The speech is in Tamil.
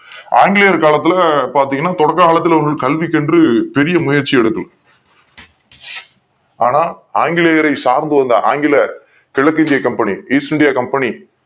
ஆங்கிலேயர்கள் காலத்துல பாத்தீங்கன்னா தொடக்க காலத்துல கல்விக்கு என்று பெரிய முயற்சி எடுக்கல ஆனா ஆங்கி லேயர்களை சார்ந்து வந்த ஆங்கில கிழக்கிந்திய கம்பெனி East India company